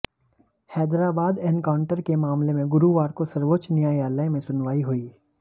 Hyderabad encounter के मामले में गुरुवार को सर्वोच्च न्यायालय में सुनवाई हुई